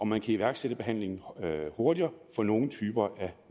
man kan iværksætte behandlingen hurtigere for nogle typer af